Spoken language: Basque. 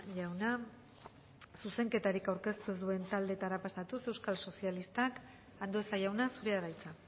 jauna zuzenketarik aurkeztu ez duen taldeetara pasatuz euskal sozialistak andueza jauna zurea da hitza